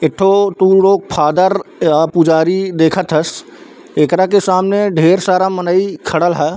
एक थे फादर अ पुजारी देख थस एकरा के सामने ढेर सारा मनई खड़ल ह।